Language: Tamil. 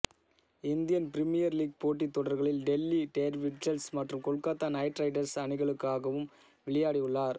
இந்தியன் பிரீமியர் லீக் போட்டித் தொடர்களில் டெல்லி டேர்டெவில்ஸ் மற்றும் கொல்கத்தா நைட் ரைடர்ஸ் அணிகளுக்காகவும் விளையாடியுள்ளார்